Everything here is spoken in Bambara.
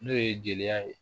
N'o ye jeliya ye